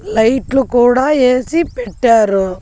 లైట్లు కూడా ఏసీ పెట్టారు.